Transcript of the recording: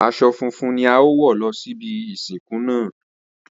Aso̩ funfun ni a óò wò̩ lo̩ síbi ìsìnkú náà